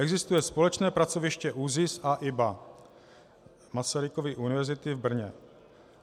Existuje společné pracoviště ÚZIS a IBA Masarykovy univerzity v Brně.